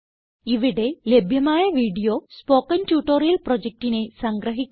ഇവിടെ ലഭ്യമായ video spoken tutorial പ്രൊജക്റ്റിനെ സംഗ്രഹിക്കുന്നു